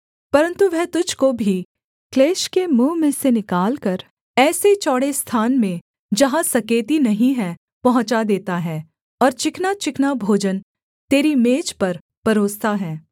परन्तु वह तुझको भी क्लेश के मुँह में से निकालकर ऐसे चौड़े स्थान में जहाँ सकेती नहीं है पहुँचा देता है और चिकनाचिकना भोजन तेरी मेज पर परोसता है